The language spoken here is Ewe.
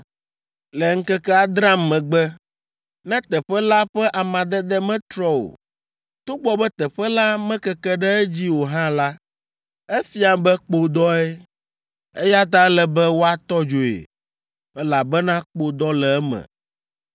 Le ŋkeke adrea megbe, ne teƒe la ƒe amadede metrɔ o, togbɔ be teƒe la mekeke ɖe edzi o hã la, efia be kpodɔe, eya ta ele be woatɔ dzoe, elabena kpodɔ le eme.